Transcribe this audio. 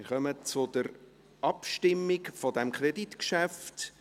Wir kommen zur Abstimmung zu diesem Kreditgeschäft.